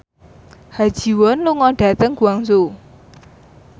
Ha Ji Won lunga dhateng Guangzhou